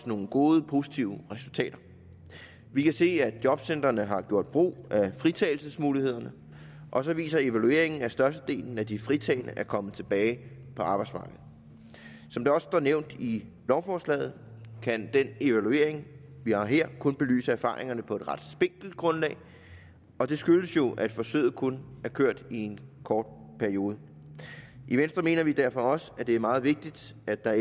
nogle gode positive resultater vi kan se at jobcentrene har gjort brug af fritagelsesmulighederne og så viser evalueringen at størstedelen af de fritagne er kommet tilbage på arbejdsmarkedet som det også står nævnt i lovforslaget kan den evaluering vi har her kun belyse erfaringerne på en ret spinkelt grundlag og det skyldes jo at forsøget kun har kørt i en kort periode i venstre mener vi derfor også at det er meget vigtigt at der